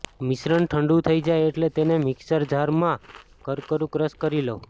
મિશ્રણ ઠંડુ થઈ જાય એટલે તેને મિક્સર જારમાં કરકરૂં ક્રશ કરી લો